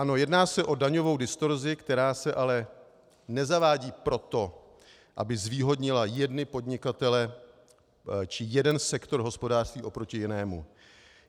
Ano, jedná se o daňovou distorzi, která se ale nezavádí proto, aby zvýhodnila jedny podnikatele či jeden sektor hospodářství oproti jinému.